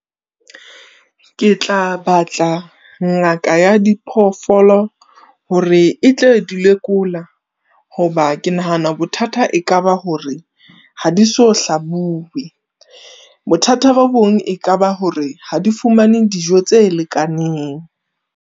Ketla batla ngaka ya diphoofolo hore e tle di lekola, hoba ke nahana bothata e kaba hore ha di so hlabue. Bothata bo bong, e ka ba hore ha di fumane dijo tse lekaneng.